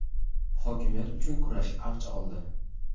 hokimiyat uchun kurash avj oldi.